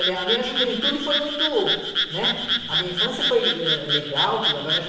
A minha juventude foi muito, né... A minha infância foi, eh, legal, tudo. Agora,